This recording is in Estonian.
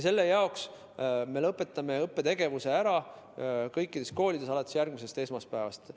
Selle jaoks me lõpetame õppetegevuse kõikides koolides alates järgmisest esmaspäevast.